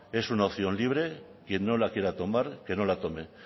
es una opción libre quien no la quiera tomar que no la tome